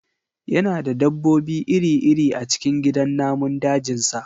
Yana da dabbobi iri-iri a cikin gidan namun dajinsa